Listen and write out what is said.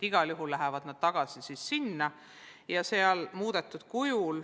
Igal juhul lähevad ettepanekud sinna tagasi.